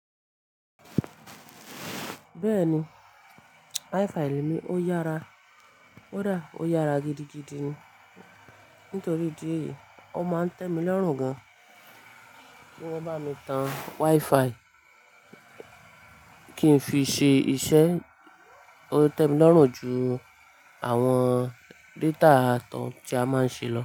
Bẹ́ẹ̀ni, WiFi mi ó yára. Kó dà, ó yára gidigidi ni. Nítorí idi èyí, ó máa ń tẹ́mi lọ́rùn gan. Kí wọ́n bá mi tan WiFi kí n fi ṣe iṣẹ́. Ó tẹ́mi lọ́rùn ju àwọn data àtọ̀ tí a máa ń ṣe lọ.